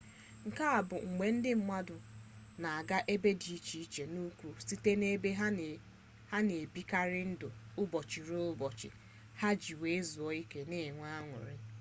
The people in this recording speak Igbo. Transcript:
nke a bụ mgbe ndị mmadụ na-aga ebe dị iche nke ukwu site n’ebe ha na-ebikarị ndụ ụbọchị-ruo-ụbọchị ha iji zuo ike ma nwee an̄ụrị